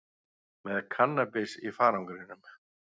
Með kannabis í farangrinum